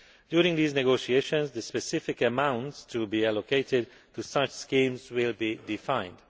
During these negotiations the specific amounts to be allocated to such schemes will be defined.